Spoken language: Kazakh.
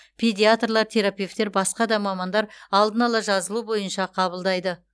педиатрлар терапевтер басқа да мамандар алдын ала жазылу бойынша қабылдайды